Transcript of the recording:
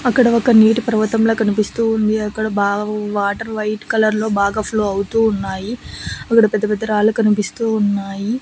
అక్కడ ఒక నీటి పర్వతంలా కనిపిస్తూ ఉంది అక్కడ బాగా వాటర్ వైట్ కలర్లో బాగా ఫ్లో అవుతూ ఉన్నాయి అక్కడ పెద్ద పెద్ద రాళ్ళు కనిపిస్తూ ఉన్నాయి.